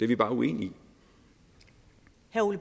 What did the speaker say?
vi bare uenige